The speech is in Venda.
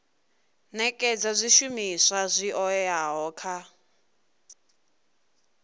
nekedza zwishumiswa zwi oeaho kha